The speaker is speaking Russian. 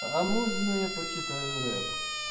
а можно я почитаю рэп